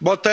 Bo to